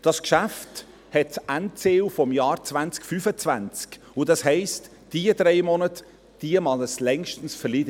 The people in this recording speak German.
Dieses Geschäft hat das Endziel 2025, und dies heisst, dass es eine Verzögerung von drei Monaten längstens verkraften mag.